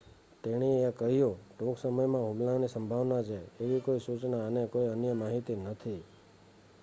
"તેણી એ કહ્યું "ટૂંક સમયમાં હુમલાની સંભાવના છે એવી કોઈ સુચના અને કોઈ અન્ય માહિતી નથી.